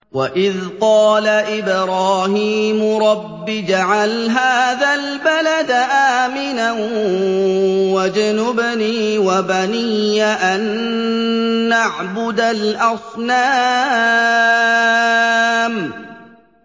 وَإِذْ قَالَ إِبْرَاهِيمُ رَبِّ اجْعَلْ هَٰذَا الْبَلَدَ آمِنًا وَاجْنُبْنِي وَبَنِيَّ أَن نَّعْبُدَ الْأَصْنَامَ